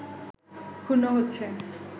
ক্ষুণ্ন হচ্ছে